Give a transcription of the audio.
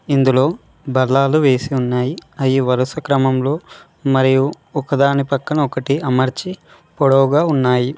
ఇందులో బల్లాలు వేసి ఉన్నాయి అయి వరుస క్రమంలో మరియు ఒకదాని పక్కన ఒకటి అమర్చి పొడవుగా ఉన్నాయి.